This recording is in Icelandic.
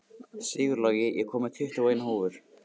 Sigurlogi, ég kom með tuttugu og eina húfur!